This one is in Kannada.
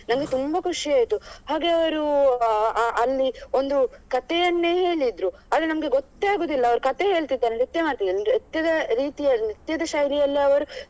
ನಂಗೆ ತುಂಬಾ ಖುಷಿಯಾಯ್ತು ಹಾಗೆ ಅವ್ರು ಅಹ್ ಅಲ್ಲಿ ಒಂದು ಕಥೆಯನ್ನೇ ಹೇಳಿದ್ರು ಆದ್ರೆ ನಮ್ಗೆ ಗೊತ್ತೆಅಗುದಿಲ್ಲ ಅವ್ರು ಕಥೆ ಹೇಳ್ತಿದ್ದಾರಾ ನೃತ್ಯದ ರೀತಿಯಲ್ಲಿ ನೃತ್ಯದ ಶೈಲಿಯಲ್ಲಿ ಅವರು.